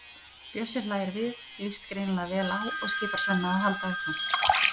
Bjössi hlær við, líst greinilega vel á og skipar Svenna að halda áfram.